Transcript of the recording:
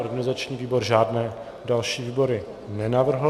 Organizační výbor žádné další výbory nenavrhl.